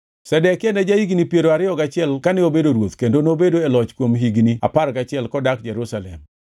Zedekia ne ja-higni piero ariyo gachiel kane obedo ruoth kendo nobedo e loch kuom higni apar gachiel kodak Jerusalem.